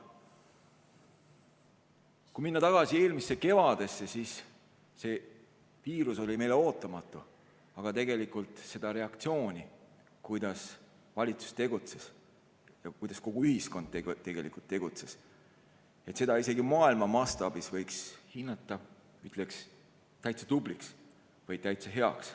Kui minna tagasi eelmisse kevadesse, siis see viirus oli meile ootamatu, aga seda reaktsiooni, kuidas valitsus tegutses ja kuidas tegelikult kogu ühiskond tegutses, seda võiks isegi maailma mastaabis hinnata, ütleks, täitsa tubliks või täitsa heaks.